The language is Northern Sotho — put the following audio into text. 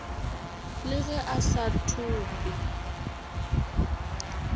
le ge a sa thope